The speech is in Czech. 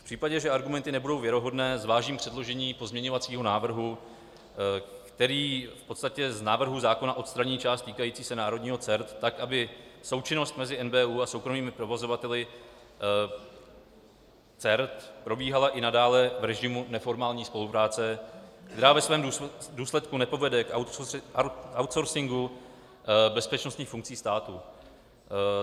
V případě, že argumenty nebudou věrohodné, zvážím předložení pozměňovacího návrhu, který v podstatě z návrhu zákona odstraní část týkající se národního CERT, tak aby součinnost mezi NBÚ a soukromými provozovateli CERT probíhala i nadále v režimu neformální spolupráce, která ve svém důsledku nepovede k outsourcingu bezpečnostních funkcí státu.